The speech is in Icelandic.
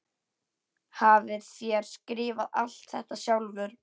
Hafið þér skrifað allt þetta sjálfur?